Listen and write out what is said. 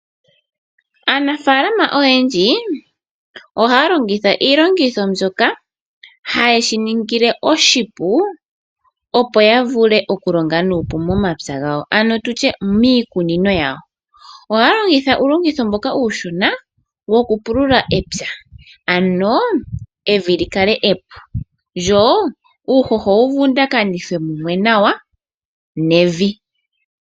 Aanafalama oyendji ohaya longitha iilongitho mbyoka haye shi ningile oshipu opo ya vule okulonga nuupu momapya gawo ano tutye miikunino yawo. Ohaya longitha uulongitjo mboka uushona wokupulula epya ano evi li kale epu ndyo uuhoho owu vundakanithwe mumwe nawa nevi.